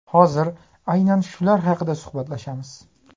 Hozir aynan shular haqida suhbatlashamiz.